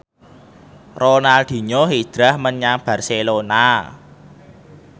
Ronaldinho hijrah menyang Barcelona